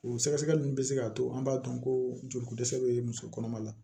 O sɛgɛsɛgɛli min bɛ se k'a to an b'a dɔn ko joliko dɛsɛ bɛ muso kɔnɔma la